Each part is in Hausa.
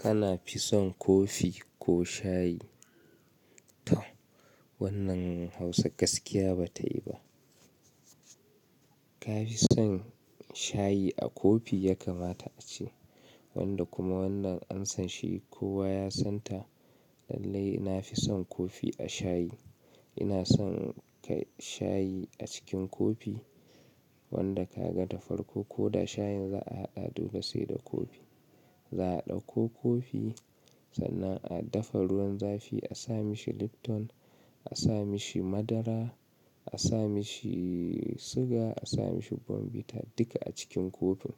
Kana fison kofi ko shayi? Toh, wannan Hausa gaskiya ba tayi ba. Ka fi son shayi a kofi ya kamata a ce, wanda kuma wannan an san shi, kowa ya san ta, Lallai na fi son kofi a shayi. Ina son, kai shayi a cikin Kofi, wanda ka ga da farko ko da shayin za'a haɗa dole sai da kofi. Za'a ɗauko kofi, sannan a dafa ruwan zafi, a sa mashi Lipton, a sa mashi madara, a sa mashi siga, a sa mashi bombita duka a cikin kofin.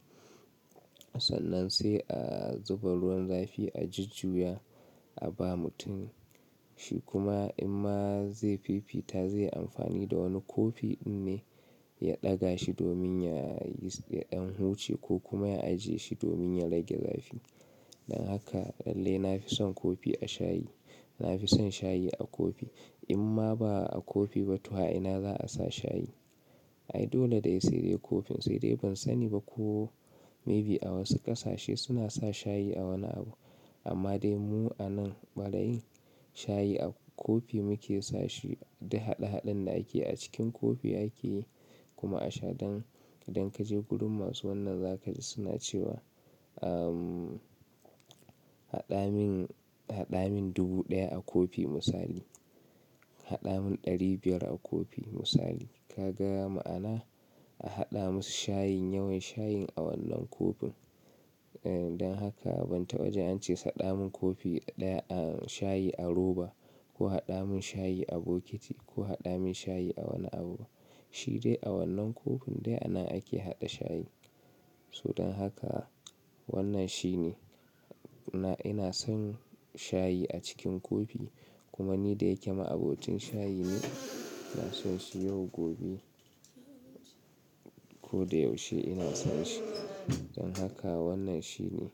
Sannan sai a zuba ruwan zafi, a jujjuya, a ba mutum shi kuma imma zai fifita, zai yi amfani da wani kofi ɗin ne, ya ɗaga shi domin ya yi, ya ɗan huce ko kuma ya ajiye shi domin ya rage zafi. Don haka, lallai na fi son Kofi a shayi. Na fi son shayi a Kofi. Imma ba'a kofi ba to a'i'na za'a sa shayi. Ai dole ne sai dai kofin, sai dai ban sani ba ko maybe a wasu ƙasashe suna sa shayi a wani abu. Amma dai mu a nan ɓariyin, shayi a kofi muke sa shi, duk haɗe-haɗen da ake yi a cikin kofi ake yi kuma a sha. Don, idan ka je gurun masu wannan za ka ji suna cewa, ahh, haɗa min, haɗa min dubu ɗaya a kofi misali. Haɗa min ɗari biyar a Kofi misali. Ka ga ma'ana? A haɗa musu shayin, yawan shayin a wannan Kofin. Eh, don haka ban taɓa jin ance haɗa mun kofi ɗaya a shayi, a roba, ko haɗa mun shayi a bokiti, ko haɗa mun shayi a wani abu ba. Shi dai a wannan Kofin dai ana ake haɗa shayi. So don haka, wannan shine. Na, ina son shayi a cikin kofi, kuma ni da yake ma'abocin shayi ne, ina son shi yau gobe. Ko da yaushe ina son shi. Don haka wannan shine.